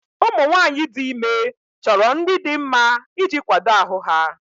Ụmụ nwanyị dị ime chọrọ nri dị mma iji kwado ahụ ha.